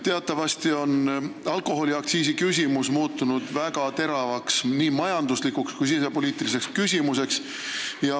Teatavasti on alkoholiaktsiisi teema muutunud väga teravaks nii majanduslikuks kui ka sisepoliitiliseks küsimuseks.